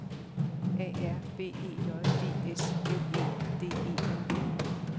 A R B E J D S L E D E R